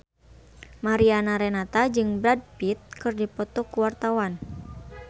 Mariana Renata jeung Brad Pitt keur dipoto ku wartawan